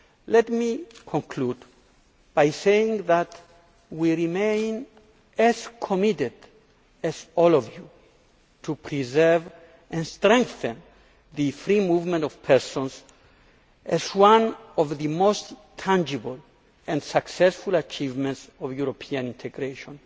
Let me conclude by saying that we remain as committed as all of you to preserving and strengthening the free movement of persons, as one of the most tangible and successful achievements of European integration.